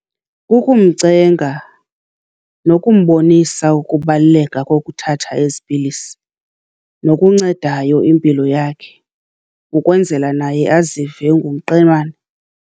Kukumcenga nokumbonisa ukubaluleka kokuthatha ezi pilisi, nokuncedayo impilo yakhe, ukwenzela naye azive engumqemana.